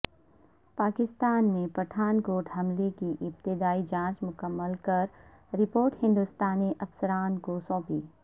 پاکستان نے پٹھان کوٹ حملے کی ابتدائی جانچ مکمل کر رپورٹ ہندستانی افسران کو سونپی